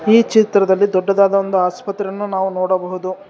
ಈ ಚಿತ್ರದಲ್ಲಿ ದೊಡ್ಡದಾದ ಒಂದು ಆಸ್ಪತ್ರೆಯನ್ನು ನಾವು ನೋಡಬಹುದು.